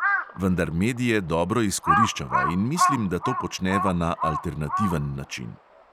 Vendar medije dobro izkoriščava in mislim, da to počneva na alternativen način.